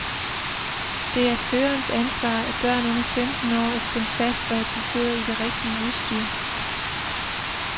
Det er førerens ansvar, at børn under femten år er spændt fast og at de sidder i det rigtige udstyr.